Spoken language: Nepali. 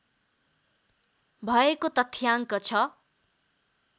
भएको तथ्याङ्क छ